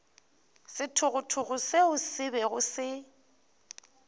sethogothogo seo se bego se